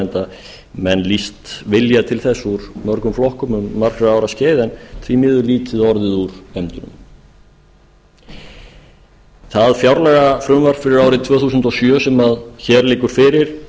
enda menn lýst vilja til þess úr mörgum flokkum um margra ára skeið en því miður lítið orðið úr efndum það fjárlagafrumvarp fyrir árið tvö þúsund og sjö sem hér liggur fyrir